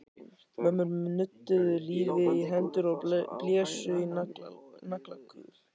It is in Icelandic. Mömmur nudduðu lífi í hendur og blésu í naglakul.